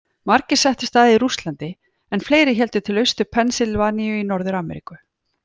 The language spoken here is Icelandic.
Margir settust að í Rússlandi en fleiri héldu til Austur-Pennsylvaníu í Norður-Ameríku.